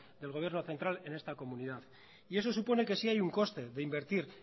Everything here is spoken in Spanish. del gobierno central en esta comunidad y eso supone que sí hay un coste de invertir